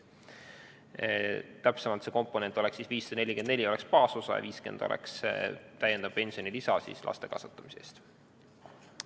Täpsemalt oleks see komponent selline: 544 baasosa ja 50 täiendav pensionilisa laste kasvatamise eest.